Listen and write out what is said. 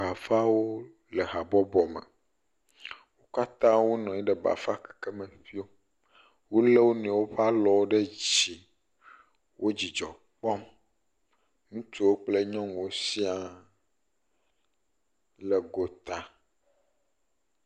Bafawo le habɔbɔ me, wo kata wo nɔnyi ɖe bafa keke me ƒio, wolé wo noewo ƒe alɔwo ɖe dzi, wo dzidzɔ kpɔm, ŋutsuwo kple nyɔnuwo shia le go ta.